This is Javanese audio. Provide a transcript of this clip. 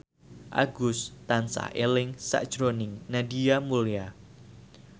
Agus tansah eling sakjroning Nadia Mulya